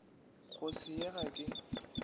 go se ye ga ke